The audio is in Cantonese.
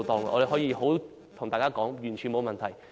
我可以告訴大家，完全沒有問題。